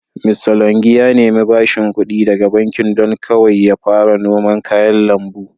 Mista longi ya nemi bashing ƙudi daga bankin don kawai ya fara noman kayan lambu.